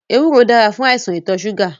Ewúro dára fún àìsàn ìtọṣúgà